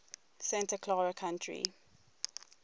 santa clara county